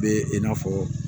Bɛ i n'a fɔ